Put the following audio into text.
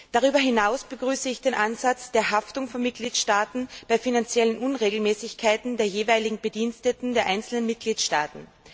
Darüber hinaus begrüße ich den Ansatz der Haftung von Mitgliedstaaten bei finanziellen Unregelmäßigkeiten der jeweiligen Bediensteten der einzelnen Mitgliedstaaten.